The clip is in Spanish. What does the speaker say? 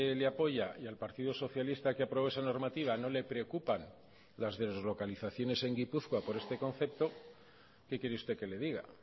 le apoya y al partido socialista que aprobó esa normativa no le preocupan las deslocalizaciones en gipuzkoa por este concepto qué quiere usted que le diga